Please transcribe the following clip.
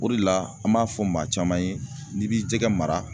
O de la, an b'a fɔ maa caman ye n'i b'i jɛgɛ mara.